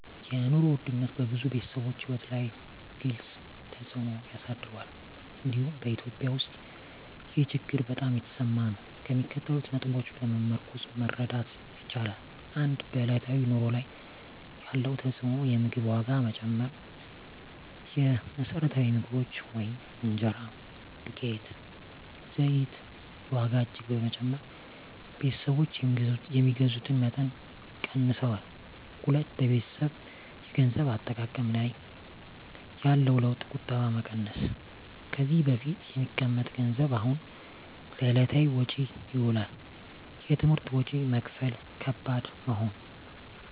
የኑሮ ውድነት በብዙ ቤተሰቦች ሕይወት ላይ ግልፅ ተፅዕኖ አሳድሯል፤ እንዲሁም በEthiopia ውስጥ ይህ ችግር በጣም የተሰማ ነው። ከሚከተሉት ነጥቦች በመመርኮዝ መረዳት ይቻላል፦ 1. በዕለታዊ ኑሮ ላይ ያለው ተፅዕኖ የምግብ ዋጋ መጨመር: የመሰረታዊ ምግቦች (እንጀራ፣ ዱቄት፣ ዘይት) ዋጋ እጅግ በመጨመር ቤተሰቦች የሚገዙትን መጠን ቀንሰዋል። 2. በቤተሰብ የገንዘብ አጠቃቀም ላይ ያለው ለውጥ ቁጠባ መቀነስ: ከዚህ በፊት የሚቀመጥ ገንዘብ አሁን ለዕለታዊ ወጪ ይውላል። የትምህርት ወጪ መክፈል ከባድ መሆን